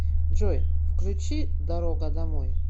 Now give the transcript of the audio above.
джой включи дорога домой